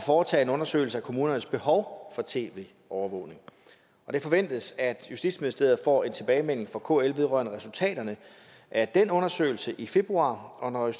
foretage en undersøgelse af kommunernes behov for tv overvågning det forventes at justitsministeriet får en tilbagemelding fra kl vedrørende resultaterne af den undersøgelse i februar og